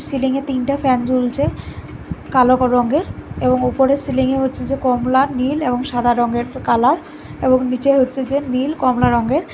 সিলিংয়ে তিনটা ফ্যান ঝুলছে কালো কাও রঙের এবং উপরে সিলিংয়ে হচ্ছে যে কমলা নীল এবং সাদা রঙের কালার এবং নীচে হচ্ছে যে নীল কমলা রঙের--